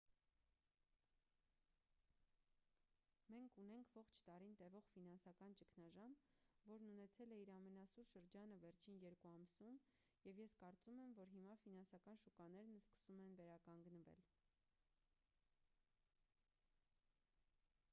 մենք ունենք ողջ տարին տևող ֆինանսական ճգնաժամ որն ունեցել է իր ամենասուր շրջանը վերջին երկու ամսում և ես կարծում եմ որ հիմա ֆինանսական շուկաներն սկսում են վերականգնվել